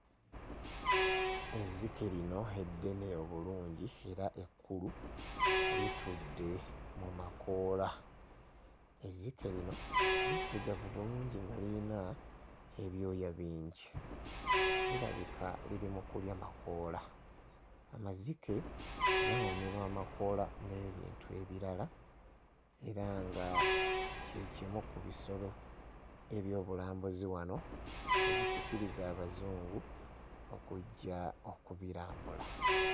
Ezzike lino eddene obulungi era ekkulu litudde mu makoola. Ezzike lino liddugavu bulungi nga lirina ebyoya bingi. Lirabika liri mu kulya makoola. Amazike gawoomerwa amakoola n'ebintu ebirala era nga kye kimu ku bisolo eby'obulambuzi wano ebisikiriza Abazungu okujja okubirambula.